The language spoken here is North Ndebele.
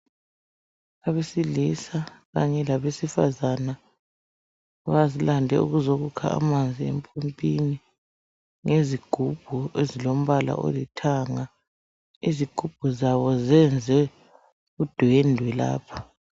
Abesilisa kanye labesifazane balande ukuzokukha amanzi empompini ngezigubhu ezilombala olithanga , izigubhu zabo zenze undwendwe lapha.